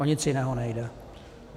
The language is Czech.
O nic jiného nejde.